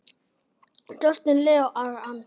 Justin Leonard